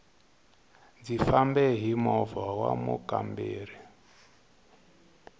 ndzi fambe hi moha wa mukamberi